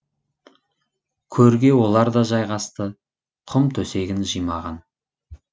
көрге олар да жайғасты құм төсегін жимаған